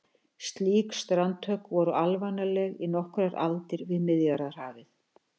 Slík strandhögg voru alvanaleg í nokkrar aldir við Miðjarðarhafið.